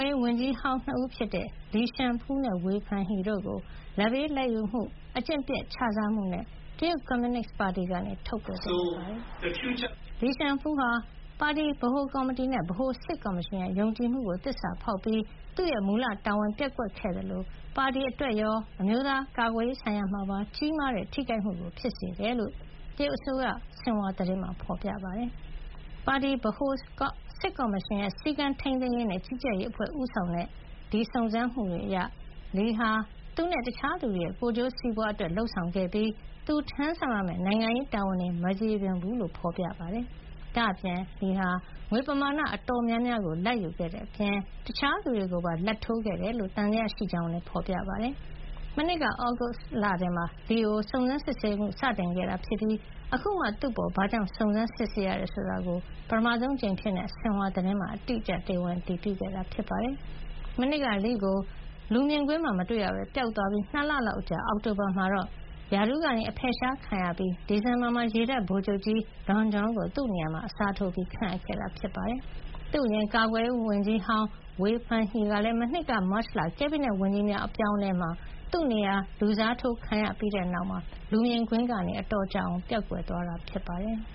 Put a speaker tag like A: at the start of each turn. A: ေးဝန်ကြီးဟောင်း နှစ်ဦးဖြစ်တဲ့ လီရှန်ဖူးနဲ့ ဝေဖန်ဟီတို့ကို လာဘ်ပေးလာဘ်ယူမှု၊ အကျင့်ပျက်ခြစားမှုတွေနဲ့ တရုတ်ကွန်မြူနစ်ပါတီကနေ ထုတ်ပယ်လိုက်ပါတယ်။ လီရှန်ဖူးဟာ ပါတီဗဟိုကော်မတီနဲ့ ဗဟိုစစ်ကော်မရှင်ရဲ့ ယုံကြည်မှုကို သစ္စာဖေါက်ပြီး သူ့မူလတာဝန် ပျက်ကွက်ခဲ့သလို ပါတီအတွက်ရော အမျိုးသားကာကွယ်ရေးဆိုင်ရာမှာပါ ကြီးမားတဲ့ ထိခိုက်မှုဖြစ်စေတယ်လို့ တရုတ်အစိုးရ ဆင်ဟွာသတင်းမှာ ဖေါ်ပြထားပါတယ်။ ပါတီ ဗဟို စစ်ကော်မရှင်ရဲ့ စည်းကမ်းထိန်းသိမ်းရေးနဲ့ ကြီးကြပ်ရေးအဖွဲ့ဦးဆောင်တဲ့ စုံစမ်းမှုတွေအရ - လီဟာ သူနဲ့ တခြားသူတွေရဲ့ ကိုယ်ကျိုးစီးပွါးအတွက် လုပ်ဆောင်ခဲ့ပြီး သူထမ်းဆောင်ရမယ့် နိုင်ငံရေးတာဝန်တွေ မကျေပွန်ဘူးလို့ ဖေါ်ပြထားပါတယ်။ ဒါ့အပြင် လီဟာ ငွေပမာဏ အတော်များများကို လာဘ်ယူခဲ့တဲ့အပြင် တခြားသူတွေကိုပါ လာဘ်ထိုးခဲ့တယ်လို့ သံသယရှိကြောင်းလည်းဖေါ်ပြပါတယ်။ မနှစ်က သြဂုတ်လမှာ လီကို စတင်စုံစမ်းစစ်ဆေးခဲ့ပြီး အခုမှ သူ့အပေါ် ဘာကြောင့် စုံစမ်းစစ်ဆေးရတယ်ဆိုတာကို ပထမဆုံးအကြိမ်အဖြစ် ဆင်ဟွာသတင်းမှာ အတိအကျ တရားဝင် အတည်ပြုခဲ့တာဖြစ်ပါတယ်။ မနှစ်က လီကို လူမြင်ကွင်းမှာမတွေ့ရဘဲပျောက်သွားပြီး ၂ လလောက် အကြာ အောက်တိုဘာမှာတော့ ရာထူးက အဖယ်ရှားခံရပါတယ်။ ဒီဇင်ဘာမှာတော့ ရေတပ်ဗိုလ်ချုပ်ကြီး Dong Jun ကို သူ့နေရာမှာ အစားထိုးခန့်ခဲ့တာပါ။ သူ့အရင် ကာကွယ်ရေးဝန်ကြီးဟောင်း ဝေဖန်ဟီဟာလည်း မနှစ်က မတ်လ ကက်ဘိနက်ဝန်ကြီးများအပြောင်းအလဲမှာ သူ့နေရာ လူစားထိုးခံခဲ့ရပြီးတဲ့နောက် လူမြင်ကွင်းကနေ အတော်ကြာ ပျောက်သွားခဲ့တာ ဖြစ်ပါတယ်။